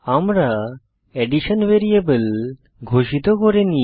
আমরা addition variable ঘোষিত করিনি